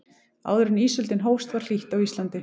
áður en ísöldin hófst var hlýtt á íslandi